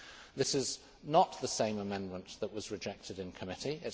This is not the same amendment that was rejected in committee.